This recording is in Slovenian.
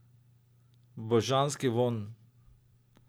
Božanski vonj!